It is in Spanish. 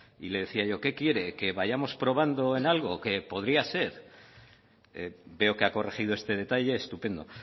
y le decía yo qué quiere que vayamos probando en algo que podría ser veo que ha corregido este detalle estupendo